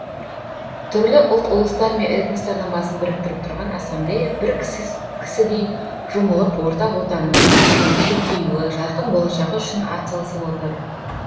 түрлі ұлт ұлыстар мен этностардың басын біріктіріп тұрған ассамблея бір кісідей жұмылып ортақ отанымыз қазақстанның көркеюі жарқын болашағы үшін ат салысып отыр